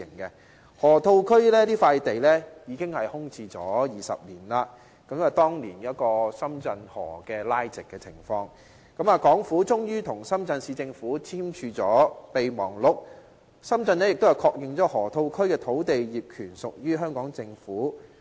河套區這塊地已經空置了20年，當年因為將深圳河拉直，港府終於與深圳市政府簽署合作備忘錄，深圳亦確認了河套區土地業權屬於香港政府。